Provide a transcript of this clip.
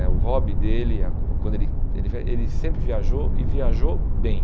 É o hobby dele, a quando ele ele sempre viajou e viajou bem.